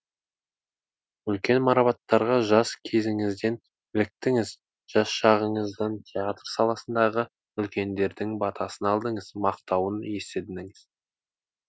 үлкен марапаттарға жас кезіңізден іліктіңіз жас шағыңыздан театр саласындағы үлкендердің батасын алдыңыз мақтауын естідіңіз